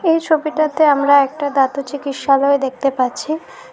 এই ছবিটাতে আমরা একটা দাঁতের চিকিৎসালয় দেখতে পাচ্ছি।